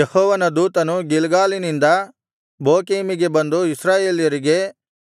ಯೆಹೋವನ ದೂತನು ಗಿಲ್ಗಾಲಿನಿಂದ ಬೋಕೀಮಿಗೆ ಬಂದು ಇಸ್ರಾಯೇಲ್ಯರಿಗೆ